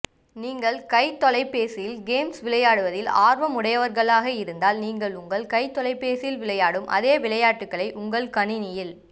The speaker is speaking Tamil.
நீங்கள் கைத்தொலைபேசிகளில் கேம்ஸ் விளையாடுவதில் ஆர்வம் உடையவர்களாக இருந்தால் நீங்கள் உங்கள் கைத்தொலைபேசியில் விளையாடும் அதே விளையாட்டுக்களை உங்கள் கணணியில்